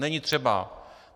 Není třeba.